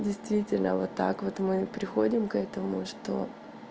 действительно вот так вот мы приходим к этому что